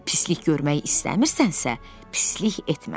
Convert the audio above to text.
Pislik görmək istəmirsənsə, pislik etmə.